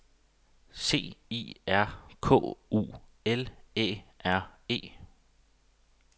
C I R K U L Æ R E